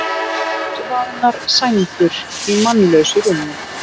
Útvaðnar sængur í mannlausu rúmi.